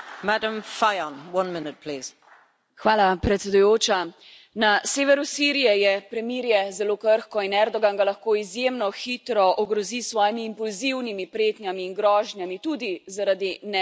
Gospa predsednica, na severu Sirije je premirje zelo krhko in Erdogan ga lahko izjemno hitro ogrozi s svojimi impulzivnimi pretnjami in grožnjami tudi zaradi neenotnosti Evropske unije.